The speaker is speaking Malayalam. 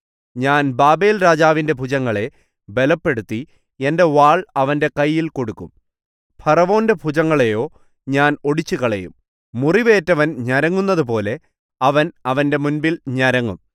ഞാൻ ബാബേൽരാജാവിന്റെ ഭുജങ്ങളെ ബലപ്പെടുത്തി എന്റെ വാൾ അവന്റെ കയ്യിൽ കൊടുക്കും ഫറവോന്റെ ഭുജങ്ങളെയോ ഞാൻ ഒടിച്ചുകളയും മുറിവേറ്റവൻ ഞരങ്ങുന്നതുപോലെ അവൻ അവന്റെ മുമ്പിൽ ഞരങ്ങും